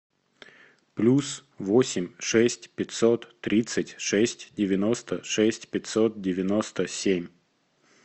плюс восемь шесть пятьсот тридцать шесть девяносто шесть пятьсот девяносто семь